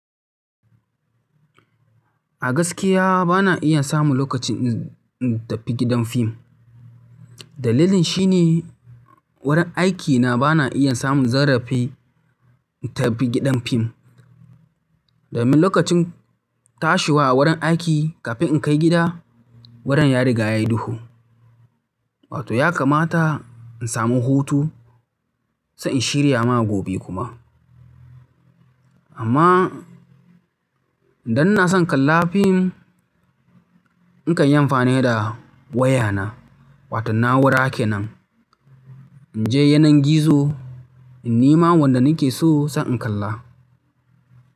A gaskiya bana iya samun lokaci in tafi gidan fim. Dalilin shi ne wurin aiki na bana iya samun zarafi in tafi gidan film domin lokacin tashiwa a wurin aiki kafin in kai gida, wurin ya riga ya yi duhu. Wato ya kamata in samu hutu, sai in shirya ma gobe kuma. Amma idan na san kallon fim, in kan yi amfani da wayana, waton na'ura kenan in je yanar gizo in nema wanda nake so sai na kalla.